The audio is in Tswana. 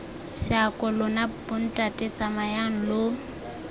seako lona bontate tsamayang lo